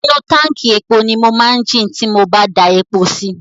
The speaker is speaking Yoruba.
Inú táǹkì epo ni mo máa jin ti mo bá da epo si.